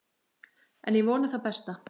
En ég vona það besta.